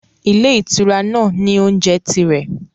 Ilé ìtura náà ní ilé-oúnjẹ tirẹ̀.